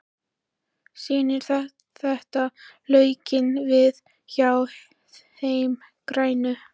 Snýr þetta lukkunni við hjá þeim grænu?